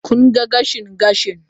Kun ga gashin gashin?